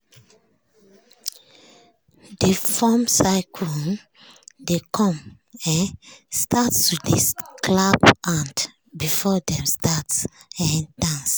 dey form circle um dey com um start to dey clap hand before dem start um dance.